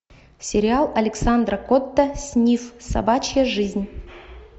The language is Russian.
сериал александра котта снифф собачья жизнь